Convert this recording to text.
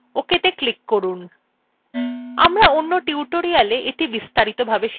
আমরা অন্য tutorialwe এটি বিস্তারিত ভাবে শিখব